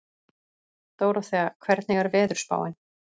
Dóróþea, hvernig er veðurspáin?